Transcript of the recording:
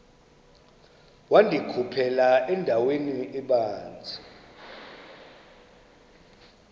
wandikhuphela endaweni ebanzi